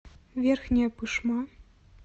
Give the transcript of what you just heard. верхняя пышма